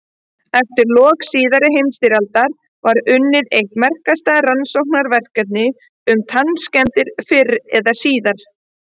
Eftir lok síðari heimsstyrjaldar var unnið eitt merkilegasta rannsóknarverkefni um tannskemmdir fyrr eða síðar.